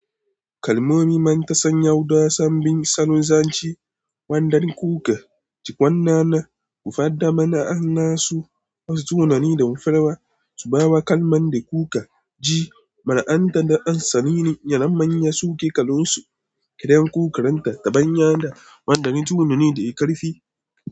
Kalmomi man ta sanya waɗansu sabbin salunzanci waɗanda kuka ji wannan na gufada mana an nasu wasu tunani da mafarwa su ba wa kalmomi da kuka ji ma'ana da an sani ne. Yanayin manya suke kalansu, kiran kukaranta ta bayyana waɗanda tunani da ikarfi.